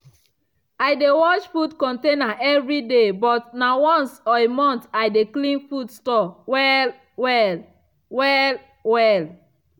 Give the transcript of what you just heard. i dey wash food container evriday but na once a month i de clean food store well-well. well-well.